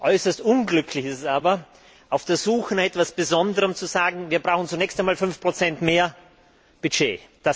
Äußerst unglücklich ist es aber, auf der Suche nach etwas Besonderem zu sagen, wir brauchen zunächst einmal 5 mehr Budget.